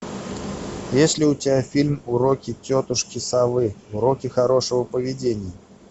есть ли у тебя фильм уроки тетушки совы уроки хорошего поведения